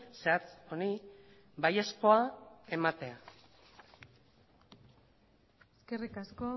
zehatz honi baiezkoa ematea eskerrik asko